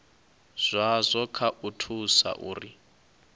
zwazwo kha u thusa uri